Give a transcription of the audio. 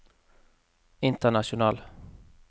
international